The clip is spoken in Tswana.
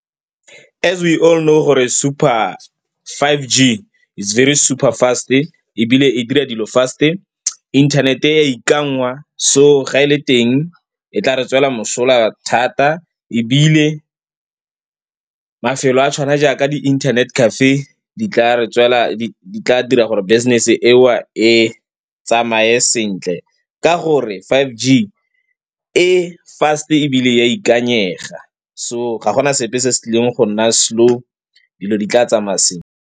As we all know gore super five G it's very super fast-e ebile e dira dilo fast-e, inthanete e ya ikanngwa so ga e le teng e tla re tswela mosola thata. Ebile mafelo a tshwana jaaka di-internet cafe di tla dira gore business-e eo e tsamaye sentle ka gore five G e fast-e ebile e a ikanyega. So ga gona sepe se se tlileng go nna slow, dilo di tla tsamaya sentle.